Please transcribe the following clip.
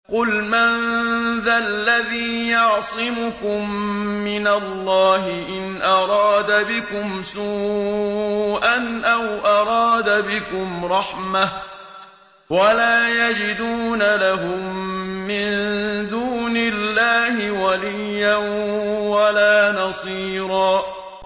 قُلْ مَن ذَا الَّذِي يَعْصِمُكُم مِّنَ اللَّهِ إِنْ أَرَادَ بِكُمْ سُوءًا أَوْ أَرَادَ بِكُمْ رَحْمَةً ۚ وَلَا يَجِدُونَ لَهُم مِّن دُونِ اللَّهِ وَلِيًّا وَلَا نَصِيرًا